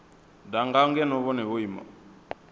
danga ngeno vhone vho ima